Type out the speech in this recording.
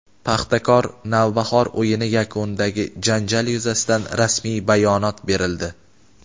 "Paxtakor" – "Navbahor" o‘yini yakunidagi janjal yuzasidan rasmiy bayonot berildi;.